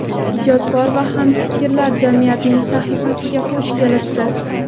ijodkor va hamfikrlar jamiyatining sahifasiga xush kelibsiz.